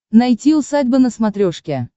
найти усадьба на смотрешке